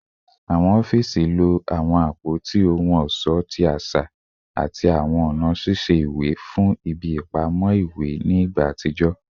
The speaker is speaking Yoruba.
Awọn ọfiisi lo awọn apoti ohun ọṣọ ti aṣa ati awọn ọna ṣiṣe ti iwe fun ibi ipamọ iwe ni igba atijọ